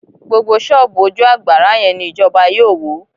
GBógbó ṣọ́ọ̀bù ojú àgbárá yẹn ni ìjọba yóò wó